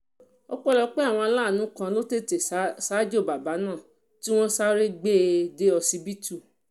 ọpẹ́lọpẹ́ àwọn aláàánú kan tó tètè ṣaájò bàbà náà tí wọ́n sáré wọ́n sáré gbé e dé ọsibítù